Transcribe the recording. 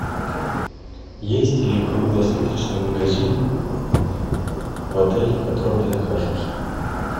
есть ли круглосуточный магазин в отеле в котором я нахожусь